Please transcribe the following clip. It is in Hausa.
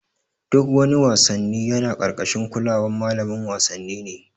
Duk wani wassanni yana karkashin kulawan malamin wasanni ne.